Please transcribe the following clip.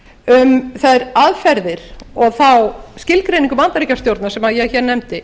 um þær aðferðir og þá skilgreiningu bandaríkjastjórnar sem ég hér nefndi